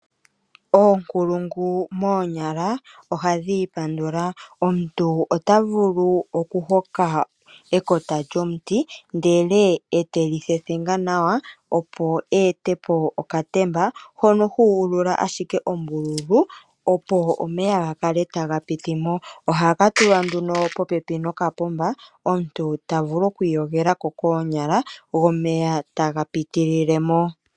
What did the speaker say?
Oonkulungu moonyala ohadhi ipandula. Omuntu ota vulu okuhoka ekota lyomuti, ndele e te li thethenga nawa, opo e ete po okatemba hono hu ulula ashike ombululu, opo omeya ga kale taga piti mo. Ohaka tulwa nduno popepi nokapomba, opo omuntu vule oku iyogela mo koonyala go omeya taga pitilile mo.